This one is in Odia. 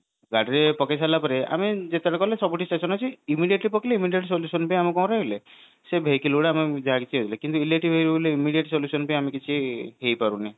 ଗାଡିରେ ପକେଇ ସାରିଲା ପରେ ଯେତେବେଳେ ଗଲେ ସବୁଠି station ଅଛି immediate ବି ପକେଇଲେ immediate solution ବି ଆମେ କଣ ରହିଲେ ସେଇ vehicle ଗୁଡା ଆମେ ଯାହା ବି କଲେ immediate solution ବି ଆମେ କିଛି ହେଇ ପାରୁନି